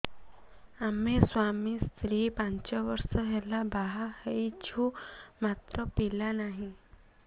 ଆମେ ସ୍ୱାମୀ ସ୍ତ୍ରୀ ପାଞ୍ଚ ବର୍ଷ ହେଲା ବାହା ହେଇଛୁ ମାତ୍ର ପିଲା ନାହିଁ